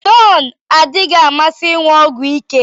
Deon adịghị amasị ịṅụ ọgwụ ike